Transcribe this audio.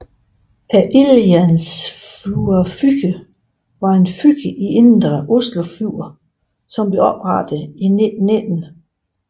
Ildjernsflua fyr var et fyr i Indre Oslofjord som blev oprettet i 1919